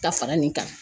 Ka fara nin kan